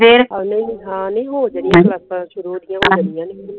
ਅਗਲੇ ਨਹੀਂ ਹਾਂ ਨਹੀਂ ਹੋ ਜਾਣੇ ਸ਼ੁਰੂ ਹੋ ਜਾਣਗੇ